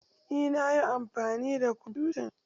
Eh nayi amfani da kwamfutan.